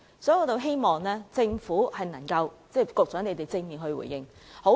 因此，我希望政府和局長作出正面回應。